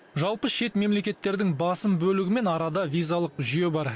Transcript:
жалпы шет мемлекеттердің басым бөлігімен арада визалық жүйе бар